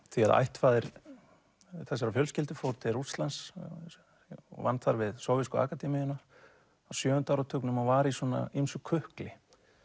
því að ættfaðir þessarar fjölskyldu fór til Rússlands og vann þar við sovésku akademíuna á sjöunda áratugnum og var í svona ýmsu kukli